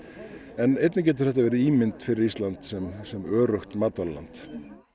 en einnig getur þetta líka verið ímynd fyrir Ísland sem sem öruggt matvælaland